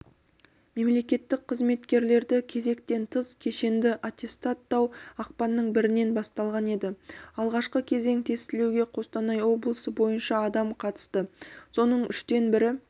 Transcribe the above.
мемлекеттік қызметкерлерді кезектен тыс кешенді аттестаттау ақпанның бірінен басталған еді алғашқы кезең тестілеуге қостанай облысы бойынша адам қатысты соның үштен бірі